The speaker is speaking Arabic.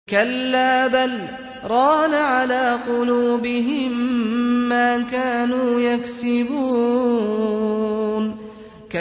كَلَّا ۖ بَلْ ۜ رَانَ عَلَىٰ قُلُوبِهِم مَّا كَانُوا يَكْسِبُونَ